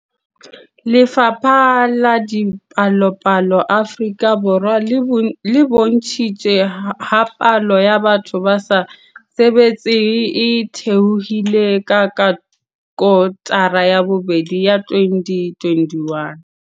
Lefapha la Dipalopalo Afrika Borwa le bontshitse ha palo ya batho ba sa sebetseng e theohile ka kotara ya bobedi ya 2021.